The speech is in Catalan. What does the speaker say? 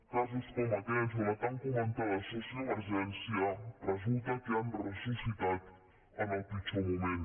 casos com aquests o la tan comentada sociovergència resulta que han ressuscitat en el pitjor moment